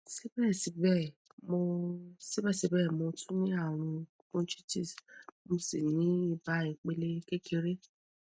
síbẹsíbẹ mo síbẹsíbẹ mo tún ní àrùn bronchitis mo sì ní ibà ìpele kékeré